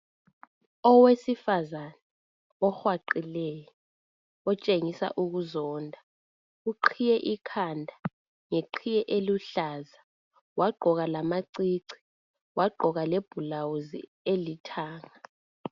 Owesifazane ohwaqileyo otshengisa ukuzonda uqhiye ikhanda ngeqhiye eluhlaza wagqoka lamacici , wagqoka le bhulawuzi elithanga